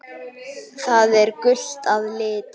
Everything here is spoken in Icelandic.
Það er gult að lit.